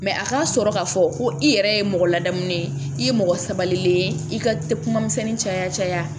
Mɛ a ka sɔrɔ k'a fɔ ko i yɛrɛ ye mɔgɔ ladamunen ye i ye mɔgɔ sabalilen i ka kuma misɛnnin caya